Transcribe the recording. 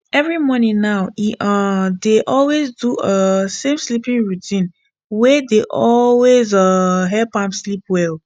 every evening now e um dey always do um same sleeping routine wey dey always um help am sleep well